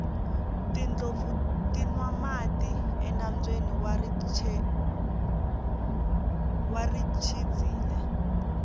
tindlopfu ti nwa mati enambyeni wa richindzile